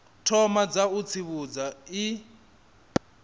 thoma dza u tsivhudza i